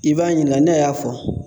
I b'a ɲininka ne y'a fɔ